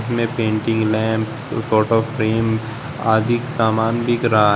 में painting lamp photo frame आधिक समान दिख रहा।